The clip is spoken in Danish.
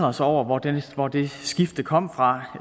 os over hvor det hvor det skifte kom fra